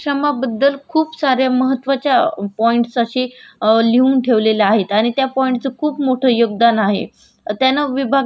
त्यांना विभागणी केलेले म्हणजे समाज विभागणी पूर्व आणि पूर्वीपासून अस्तित्वात आहे म्हणजे पूर्वीपासून लोक श्रम करत आहेत